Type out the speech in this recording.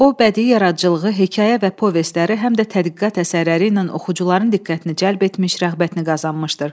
O bədii yaradıcılığı, hekayə və povestləri, həm də tədqiqat əsərləri ilə oxucuların diqqətini cəlb etmiş, rəğbətini qazanmışdır.